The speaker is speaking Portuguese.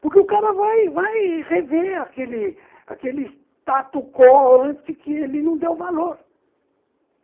Porque o cara vai vai rever aquele status quo antes que ele não dê o valor.